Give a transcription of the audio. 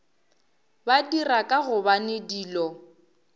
ba dira ka gobane dilo